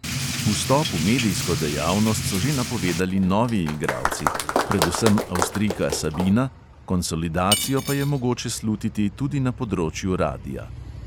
Vstop v medijsko dejavnost so že napovedali novi igralci, predvsem avstrijka sabina, konsolidacijo pa je mogoče slutiti tudi na področju radia.